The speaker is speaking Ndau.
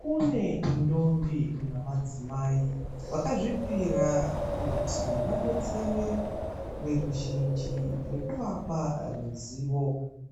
Kune ndombi namadzimai vakazvipira kuti vadesere veruzhinji ruzivo